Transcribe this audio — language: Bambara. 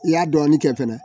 I y'a dɔɔnin kɛ fɛnɛ